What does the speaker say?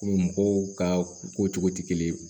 mɔgɔw ka ko cogo tɛ kelen ye